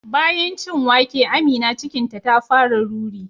Bayan cin wake Amina cikinta ta fara ruri